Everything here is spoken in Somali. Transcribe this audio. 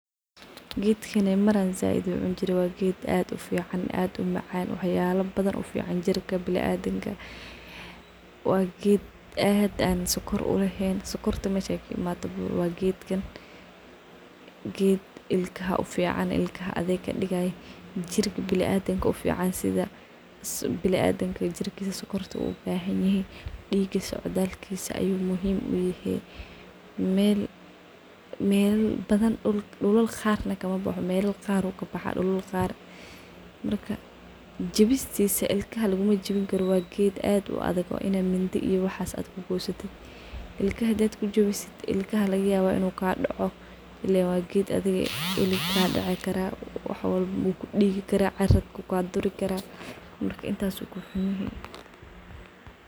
Gedkan mar ayan aad ucuni jire wa geed aad umacan wax yalo badan ufican biniadanka jirkisa wa geed aad sokor uleh. Sokorta meeshey kaimatobo wa gedkan ilkaha aya ufucan yahay jirka biniadanka aya ufican yahy dhiiga socdakisa ayu muhiim uyahay, melal qar ayu kabaxa marka jawistisa ilkaha lagumajawini karo wa ged aad uadag wa in ad mindi iyo waxa kugoysid ilkaha hda kujiwsid ilkaha ayu kajawini kara ciritku kaduri karaa marka sida ayu kuxun yahay.